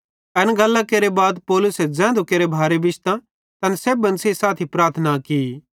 एन गल्लां केरे बाद पौलुसे ज़ैधू केरे भारे बिश्तां तैन सेब्भन सेइं साथी प्रार्थना की